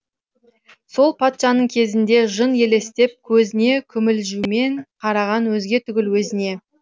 сол патшаның кезінде жын елестеп көзіне күмілжумен қараған өзге түгіл өзіне